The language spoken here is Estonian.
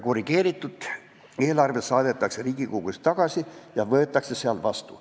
Korrigeeritud eelarve saadetakse Riigikogusse tagasi ja võetakse vastu.